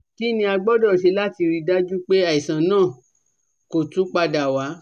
Kini a gbọdọ ṣe lati rii daju pe aisan naa ko tun pada wa?